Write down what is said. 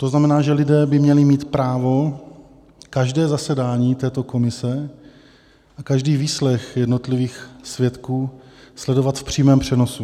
To znamená, že lidé by měli mít právo každé zasedání této komise a každý výslech jednotlivých svědků sledovat v přímém přenosu.